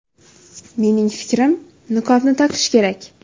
Mening fikrim, niqobni taqish kerak.